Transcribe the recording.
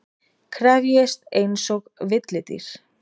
Krefjist einsog villidýr.